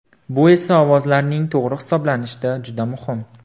Bu esa ovozlarning to‘g‘ri hisoblanishida juda muhim.